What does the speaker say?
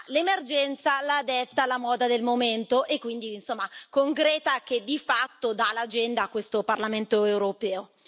L'emergenza la detta la moda del momento e quindi, insomma, con Greta che di fatto dà l'agenda a questo Parlamento europeo.